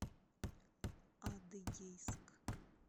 адыгейск